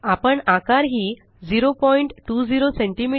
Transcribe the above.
आपण आकार ही 020सीएम